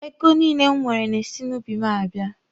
Ego niile m nwere na-esi n'ubi m abịa.